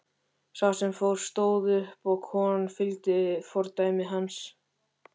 Sá sem fór stóð upp og konan fylgdi fordæmi hans.